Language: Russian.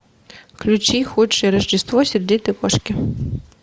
включи худшее рождество сердитой кошки